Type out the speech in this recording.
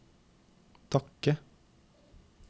takke